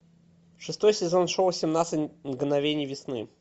шестой сезон шоу семнадцать мгновений весны